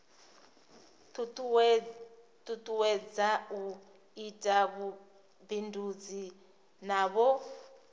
tutuwedza u ita vhubindudzi navho